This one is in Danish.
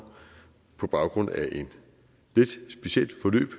på baggrund af et lidt specielt forløb